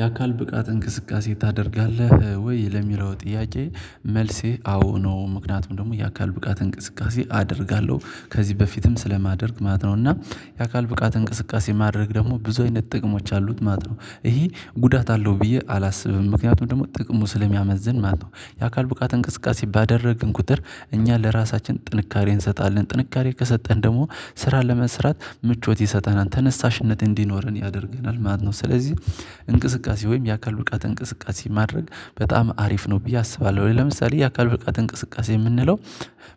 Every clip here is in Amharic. የአካል ብቃት እንቅስቃሴ ታደርጋለህ ወይ? ለሚለው ጥያቄ መልሴ አዎ ነው። ምክንያቱም ደግሞ የአካል ብቃት እንቅስቃሴ አደርጋለሁ። ከዚህ በፊትም ስለማደርግ ማለት ነው። እና የአካል ብቃት እንቅስቃሴ ማድረግ ደግሞ ብዙ አይነት ጥቅሞች አሉት ማለት ነው። ይሄ ጉዳት አለው ብዬ አላስብም። ምክንያቱም ደግሞ ጥቅሙ ስለሚያመዝን ማለት ነው። የአካል ብቃት እንቅስቃሴ ባደረግን ቁጥር እኛ ለራሳችን ጥንካሬን እንሰጣለን። ጥንካሬ ከሰጠን ደግሞ ስራ ለመስራት ምቾት ይሰጠናል። ተነሳሽነት እንዲኖረን ያደርገናል ማለት። ስለዚህ እንቅስቃሴ ወይም የአካል ውልቃት እንቅስቃሴ ማድረግ በጣም አሪፍ ነው ብዬ አስባለሁ። ለምሳሌ የአካል ፍቃድ እንቅስቃሴ የምንለው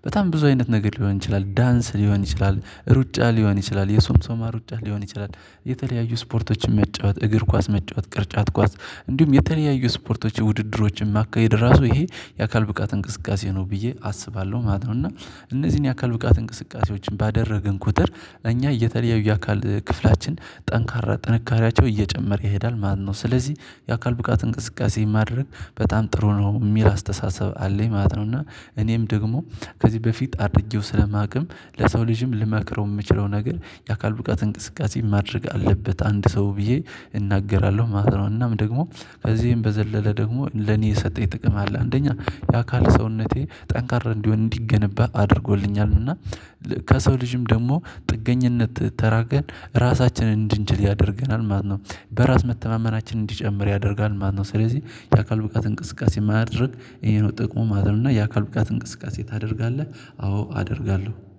በጣም ብዙ አይነት ነገር ሊሆን ይችላል። ዳንስ ሊሆን ይችላል፤ ሩጫ ሊሆን ይችላል፤ የሰምሰማ ሩጫ ሊሆን ይችላል፤ የተለያዩ ስፖርቶችን መጫወት፣ እግር ኳስ መጫወት፣ ቅርጫት ኳስ እንዲሁም የተለያየ ስፖርቶች ውድድሮችን ማካሄድ ራሱ ይሄ የአካል ብቃት እንቅስቃሴ ነው ብዬ አስባለሁ ማለት ነው። እና እነዚህን የአካል ብቃት እንቅስቃሴዎችን ባደረግን ቁጥር እኛ የተለያዩ የአካል ክፍላችን ጠንካራ ጥንካሬያቸው እየጨመረ ይሄዳል ማለት ነው። ስለዚህ የአካል ብቃት እንቅስቃሴ ማድረግ በጣም ጥሩ ነው የሚል አስተሳሰብ አለኝ ማለት ነው። እና እኔም ደግሞ ከዚህ በፊት አድርጌው ስለማውቅም ለሰው ልጅም ልማክረው የምችለው ነገር የአካል ብቃት እንቅስቃሴ ማድረግ አለበት አንድ ሰው ብዬ እናገራለሁ ማለት ነው። እናም ደግሞ ከዚህም በዘለለ ደግሞ ለኔ የሰጠኝ ጥቅም አለ። አንደኛ የአካል ሰውነቴ ጠንካራ እንዲሆን እንዲገነባ አድርጎልኛል። እና ከሰው ልጅም ደግሞ ጥገኝነት ተላቀን ራሳችንን እንድንችል ያደርገናል ማለት ነው። በራስ መተማመናችን እንዲጨምር ያደርጋል ማለት ነው። ስለዚህ የአካል ብቃት እንቅስቃሴ ማድረግ ይሄ ነው ጥቅሙ ማለት ነው። እና የአካል ብቃት እንቅስቃሴ ታደርጋለህ? አዎ አደርጋለሁ?